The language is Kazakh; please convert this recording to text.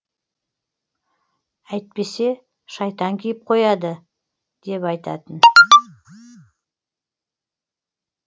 әйтпесе шайтан киіп қояды деп айтатын